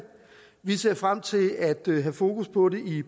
vi ser frem til at have fokus på det i